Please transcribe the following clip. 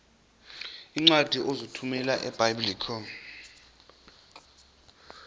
iincwadi ozithumela ebiblecor